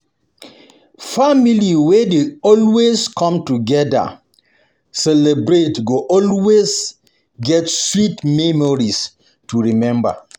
Family wey dey always come together celebrate go always get sweet memories to remember.